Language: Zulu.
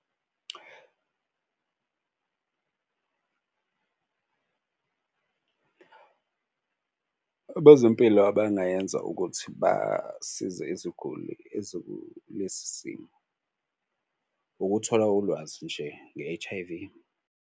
Abezempilo abangayenza ukuthi basize iziguli ezikulesi simo ukuthola ulwazi nje nge-H_I_V.